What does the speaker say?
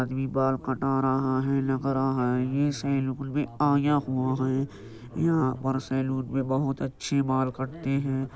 आदमी बाल कटा रहा है लग रहा है ये सेलून में आया हुआ हैं। यहां पर सेलून में बहुत अच्छे बाल कटते हैं।